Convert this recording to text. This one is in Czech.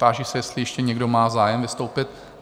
Táži se, jestli ještě někdo má zájem vystoupit?